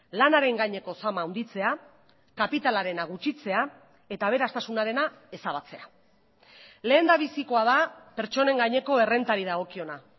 lanaren gaineko zama handitzea kapitalarena gutxitzea eta aberastasunarena ezabatzea lehendabizikoa da pertsonen gaineko errentari dagokiona